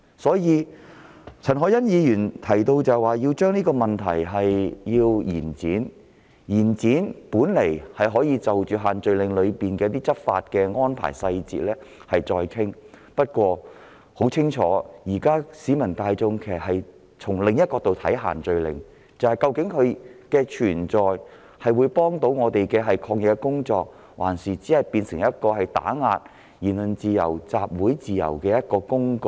所以，陳凱欣議員提出延展修訂期限的建議，本來是要就限聚令的一些執法細節再作商討，但市民大眾現時已顯然從另一角度出發，質疑限聚令的存在是協助進行抗疫工作，還是用作打壓言論自由、集會自由的工具？